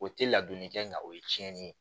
O te ladonni kɛ nka o ye cɛnni ye